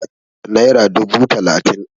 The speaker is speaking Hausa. naira dubu talatin